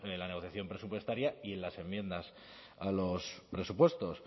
la negociación presupuestaria y las enmiendas a los presupuestos